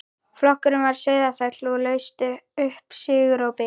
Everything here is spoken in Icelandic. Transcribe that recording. Flokkurinn við Sauðafell laust upp sigurópi.